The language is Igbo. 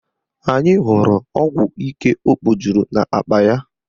Anyị hụrụ ọgwụ ike o kpojuru n'akpa ya